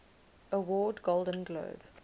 award golden globe